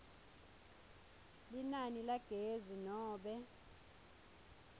linani lagezi nobe